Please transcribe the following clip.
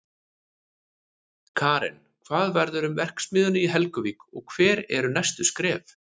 Karen, hvað verður um verksmiðjuna í Helguvík og hver eru næstu skref?